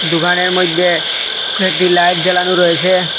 দোকানের মইদ্যে কয়েকটি লাইট জ্বালানো রয়েসে।